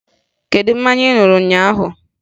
Kedu mmanya ị ṅụrụ ụnyaahụ?